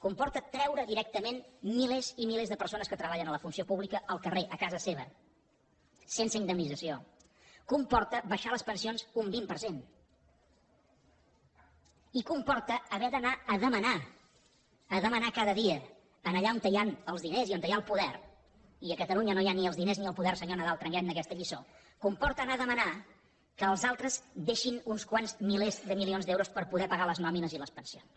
comporta treure directament milers i milers de persones que treballen a la funció pública al carrer a casa seva sense indemnització comporta abaixar les pensions un vint per cent i comporta haver d’anar a demanar a demanar cada dia allà on hi han els diners i on hi ha el poder i a catalunya no hi ha ni els diners ni el poder senyor nadal prenguem ne aquesta lliçó comporta anar a demanar que els altres deixin uns quants milers de milions d’euros per poder pagar les nòmines i les pensions